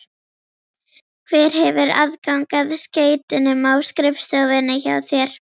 Hver hefur aðgang að skeytunum á skrifstofunni hjá þér?